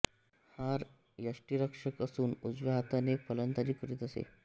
हा यष्टीरक्षक असून उजव्या हाताने फलंदाजी करीत असे